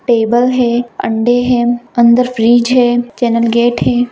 Table है अंडे है अन्दर फ्रिज है चेंनल गेट है।